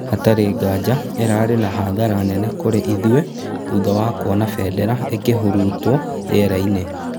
Hatarĩ nganja ĩrarĩ na hathara nene kũrĩ ithuĩ thutha wa kwona bendera ĩkĩhurutwo rĩera-ini